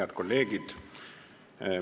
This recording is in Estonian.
Head kolleegid!